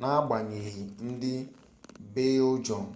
n'agbanyeghị ndị belgịọm